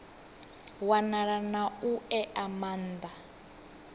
wanala na u ea maana